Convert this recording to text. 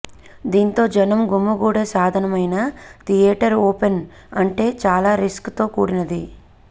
దీంతో జనం గుమిగూడే సాధనమైన థియేటర్ ఓపెన్ అంటే చాలా రిస్క్ తో కూడినది